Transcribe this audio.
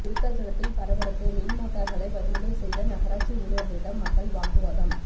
விருத்தாசலத்தில் பரபரப்பு மின் மோட்டார்களை பறிமுதல் செய்த நகராட்சி ஊழியர்களிடம் மக்கள் வாக்குவாதம்